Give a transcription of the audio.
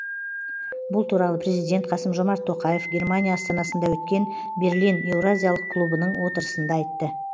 бұл туралы президент қасым жомарт тоқаев германия астанасында өткен берлин еуразиялық клубының отырысында айтты